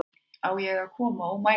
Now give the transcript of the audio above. Á ég að koma og mæla þig